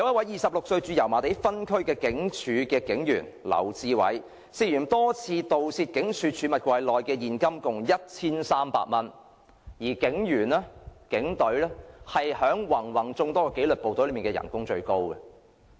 二十六歲駐油麻地分區的警署警員劉智偉，涉嫌多次盜竊警署儲物櫃內的現金共 1,300 元，而警隊的薪酬在芸芸眾多紀律部隊中最高。